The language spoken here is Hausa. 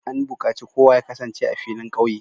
An bukaci kowa ya kasance a filin kauye!